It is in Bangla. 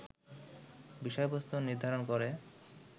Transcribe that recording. বিষয়বস্তু নির্ধারণ করে